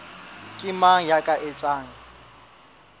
ke mang ya ka etsang